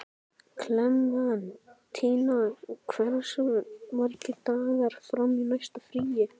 Klementína, hversu margir dagar fram að næsta fríi?